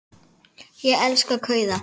Ég elska kauða.